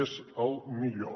és el millor